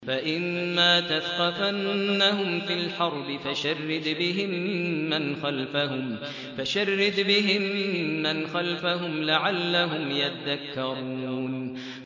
فَإِمَّا تَثْقَفَنَّهُمْ فِي الْحَرْبِ فَشَرِّدْ بِهِم مَّنْ خَلْفَهُمْ لَعَلَّهُمْ يَذَّكَّرُونَ